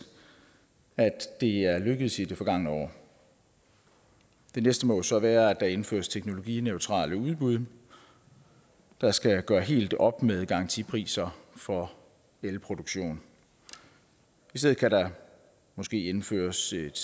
at det er lykkedes i det forgangne år det næste må så være at der indføres teknologineutrale udbud der skal gøre helt op med garantipriser for elproduktion i stedet kan der måske indføres et